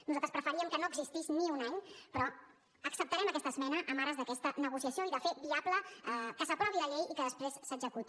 nosaltres preferíem que no existís ni un any però acceptarem aquesta esmena en ares d’aquesta negociació i de fer viable que s’aprovi la llei i que després s’executi